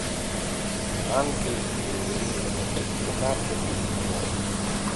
ангельские ритмы двенадцатый сезон